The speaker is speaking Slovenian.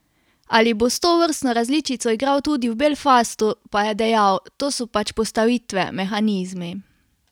Ali bo s tovrstno različico igral tudi v Belfastu, pa je dejal: "To so pač postavitve, mehanizmi.